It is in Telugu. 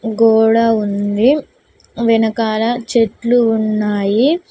గోడ ఉంది వెనకాల చెట్లు ఉన్నాయి.